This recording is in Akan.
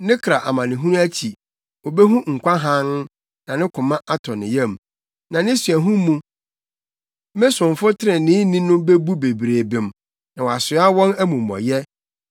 Ne kra amanehunu akyi, obehu nkwa hann, na ne koma atɔ ne yam; na ne suahu mu me somfo treneeni no bebu bebree bem, na wasoa wɔn amumɔyɛ.